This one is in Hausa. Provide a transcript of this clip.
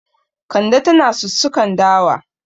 Kande tana sussukan dawa.